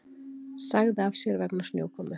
Sagði af sér vegna snjókomu